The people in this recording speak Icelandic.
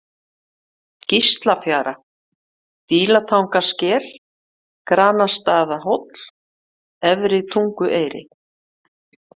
Gíslafjara, Dílatangasker, Granastaðahóll, Efri-Tungueyri